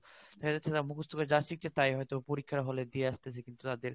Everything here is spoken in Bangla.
দেখা যাচ্ছে যারা মুখস্ত করে যা শিখছে তাই হয়তো দিয়ে আসতেছে কিন্তু তাদের